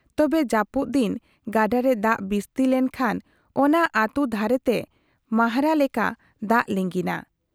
ᱛᱚᱵᱮ ,ᱡᱟᱹᱯᱩᱫ ᱫᱤᱱ ᱜᱟᱰᱟ ᱨᱮ ᱫᱟᱜ ᱵᱤᱥᱛᱤ ᱞᱮᱱ ᱠᱷᱟᱱ ᱚᱱᱟ ᱟᱹᱛᱩ ᱫᱷᱟᱨᱮ ᱛᱮ ᱢᱟᱦᱨᱟ ᱞᱮᱠᱟ ᱫᱟᱜ ᱞᱤᱸᱜᱤᱱᱟ ᱾